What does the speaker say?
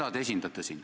Keda te esindate siin?